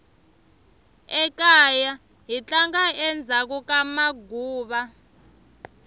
ekaya hi tlanga endzhaku ka maguva